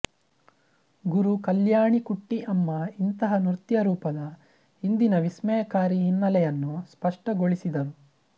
ಗುರು ಕಲ್ಯಾಣಿಕುಟ್ಟಿ ಅಮ್ಮ ಇಂತಹ ನೃತ್ಯ ರೂಪದ ಹಿಂದಿನ ವಿಸ್ಮಯಕಾರಿ ಹಿನ್ನೆಲೆಯನ್ನು ಸ್ಪಷ್ಟಗೊಳಿಸಿದರು